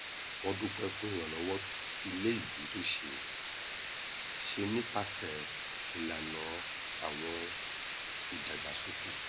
wọn dúpẹ fún ìràlọwọ iléìgbé tó ṣe é ṣe nípasẹ ìlàna àwọn ìdàgbàsókè